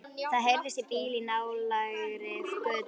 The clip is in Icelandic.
Það heyrist í bíl í nálægri götu.